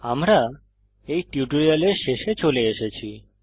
আমরা এই টিউটোরিয়ালের শেষে চলে এসেছি